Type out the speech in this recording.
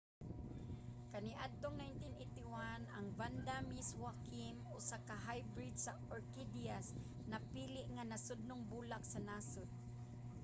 kaniadtong 1981 ang vanda miss joaquim usa ka hybrid sa orkidyas napili nga nasudnong bulak sa nasod